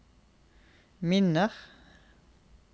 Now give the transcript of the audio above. minner